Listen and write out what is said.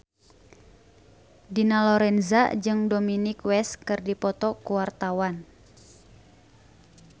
Dina Lorenza jeung Dominic West keur dipoto ku wartawan